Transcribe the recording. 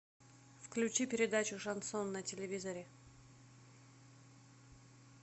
включи передачу шансон на телевизоре